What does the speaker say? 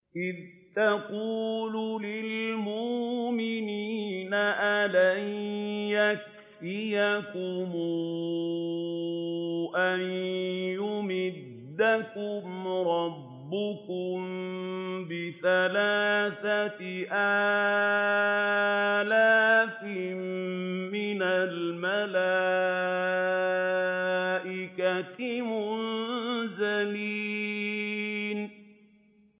إِذْ تَقُولُ لِلْمُؤْمِنِينَ أَلَن يَكْفِيَكُمْ أَن يُمِدَّكُمْ رَبُّكُم بِثَلَاثَةِ آلَافٍ مِّنَ الْمَلَائِكَةِ مُنزَلِينَ